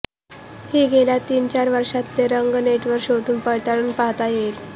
हे गेल्या तीनचार वर्षांतले रंग नेटवर शोधून पडताळून पाहता येईल